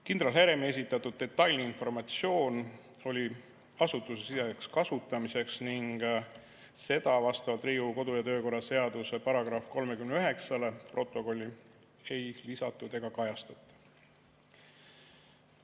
Kindral Heremi esitatud detailne informatsioon oli asutusesiseseks kasutamiseks ning seda vastavalt Riigikogu kodu‑ ja töökorra seaduse §‑le 39 protokolli ei lisatud ega kajastata.